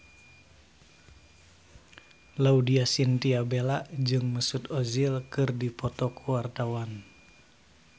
Laudya Chintya Bella jeung Mesut Ozil keur dipoto ku wartawan